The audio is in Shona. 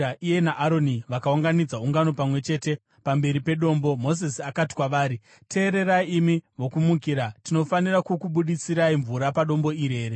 Iye naAroni vakaunganidza ungano pamwe chete pamberi pedombo, Mozisi akati kwavari, “Teererai imi vokumukira, tinofanira kukubudisirai mvura padombo iri here?”